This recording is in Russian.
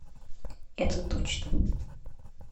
это точно